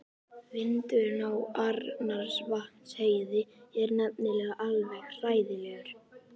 Vindurinn á Arnarvatnsheiði er nefnilega alveg hræðilegur.